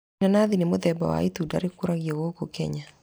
Inanathi nĩ mũthemba wa itunda rĩkũragio gũkũ Kenya.